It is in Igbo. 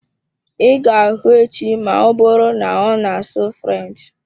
I ga hụ echi ma ọbụrụ na-ona asụ french